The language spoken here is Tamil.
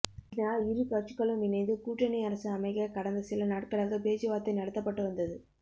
இதனால் இரு கட்சிகளும் இணைந்து கூட்டணி அரசு அமைக்க கடந்த சில நாட்களாக பேச்சுவார்த்தை நடத்தப்பட்டு வந்தது